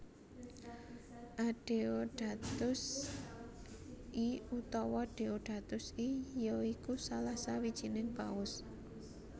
Adeodatus I utawa Deodatus I ya iku salah sawijining Paus